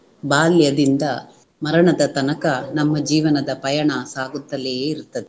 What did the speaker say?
ಬಾಲ್ಯದಿಂದ ಮರಣದ ತನಕ ನಮ್ಮ ಜೀವನದ ಪಯಣ ಸಾಗುತ್ತಲೇ ಇರ್ತದೆ